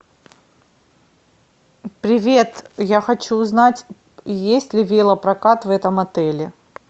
привет я хочу узнать есть ли велопрокат в этом отеле